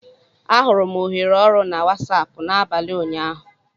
Ahụrụ m ohere ọrụ na Wasapụ n'abalị ụnyaahụ